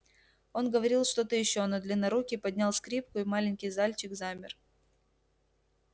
он говорил что то ещё но длиннорукий поднял скрипку и маленький зальчик замер